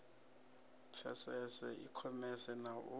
pfesese i khomese na u